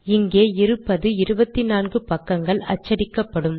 இங்கே இருப்பது 24 பக்கங்கள் அச்சடிக்கப்படும்